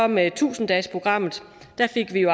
med tusind dagesprogrammet